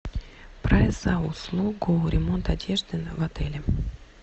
прайс за услугу ремонт одежды в отеле